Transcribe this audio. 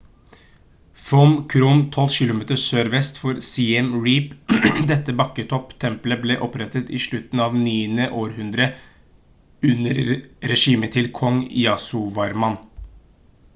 phnom krom 12 kilometer sørvest for siem reap dette bakketopp-tempelet ble opprettet i slutten av det 9. århundre under regimet til kong yasovarman